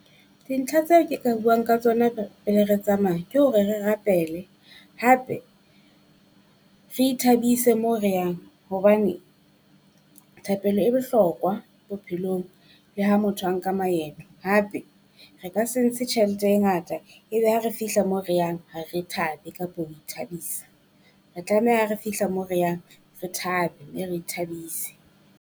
Dintlha tse ke ka buang ka tsona pele re tsamaya ke hore re rapele, hape re ithabise mo re yang hobane thapelo e bohlokwa bophelong le ha motho a nka maeto. Hape re ka se ntse tjhelete e ngata ebe ha re fihla mo re yang ha re thabe kapo ho ithabisa. Re tlameha ha re fihla mo re yang re thabe mme re ithabise.